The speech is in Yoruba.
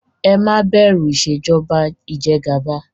Ẹ má bẹ̀rù Ìṣèjọba ijẹgàba!